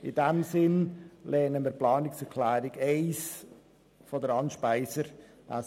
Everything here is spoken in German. In diesem Sinn lehnen wir die Planungserklärung 1 von Grossrätin Speiser ab.